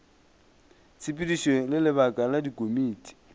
tshepedišo le lebaka la dikomiti